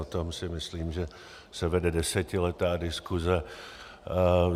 O tom si myslím, že se vede desetiletá diskuze.